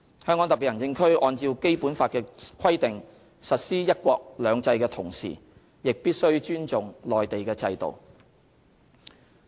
香港特別行政區按照《基本法》的規定實施"一國兩制"的同時，亦必須尊重內地的制度。